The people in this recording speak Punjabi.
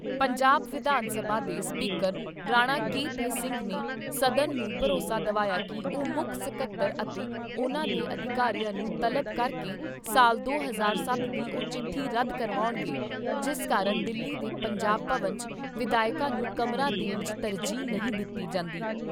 ਪੰਜਾਬ ਵਿਧਾਨ ਸਭਾ ਦੇ speaker Rana K P Singh ਨੇ ਸਦਨ ਨੂੰ ਭਰੋਸਾ ਦਵਾਇਆ ਕਿ ਉਹ ਮੁੱਖ ਸਕੱਤਰ ਅਤੇ ਉਨ੍ਹਾਂ ਦੇ ਅਧਿਕਾਰੀਆਂ ਨੂੰ ਤਲਬ ਕਰਕੇ ਸਾਲ ਦੋ ਹਜ਼ਾਰ ਸੱਤ ਦੀ ਉਹ ਚਿੱਠੀ ਰੱਦ ਕਰਵਾਉਣਗੇ, ਜਿਸ ਕਾਰਨ ਦਿੱਲੀ ਦੇ ਪੰਜਾਬ ਭਵਨ 'ਚ ਵਿਧਾਇਕਾਂ ਨੂੰ ਕਮਰਾ ਦੇਣ 'ਚ ਤਰਜੀਹ ਨਹੀਂ ਦਿੱਤੀ ਜਾਂਦੀ।